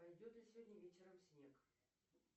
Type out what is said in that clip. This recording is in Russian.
пойдет ли сегодня вечером снег